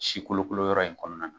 Si kolokolo yɔrɔ in kɔnɔna na